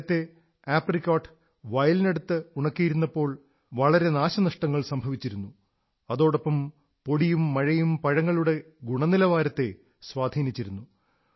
നേരത്തേ ആപ്രിക്കോട്ട് വയലിനടുത്ത് ഉണക്കിയിരുന്നപ്പോൾ വളരെ നാശനഷ്ടങ്ങൾ സംഭവിച്ചിരുന്നു അതോടൊപ്പം പൊടിയും മഴയും പഴങ്ങളുടെ ഗുണനിലവാരത്തെ സ്വാധീനിച്ചിരുന്നു